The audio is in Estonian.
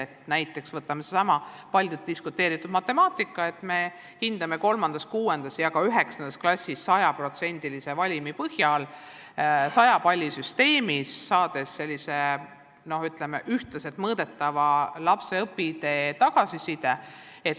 Võtame näiteks sellesama palju diskuteeritud matemaatika, et hindame 3., 6. ja ka 9. klassis 100%-lise valimi põhjal 100 palli süsteemis, saades sellise ühtlaselt mõõdetava õpitee tagasiside.